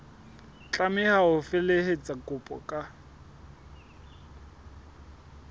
tlameha ho felehetsa kopo ka